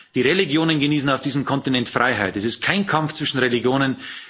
Die Religionen genießen auf diesem Kontinent Freiheit. Das ist kein Kampf zwischen Religionen.